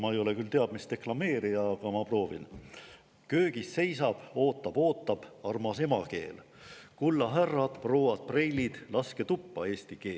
Ma ei ole küll teab mis deklameerija, aga ma proovin: "Köögis seisab – ootab, ootab / meie armas emakeel …/ Kulla härrad, prouad, preilid, / laske tuppa eesti keel.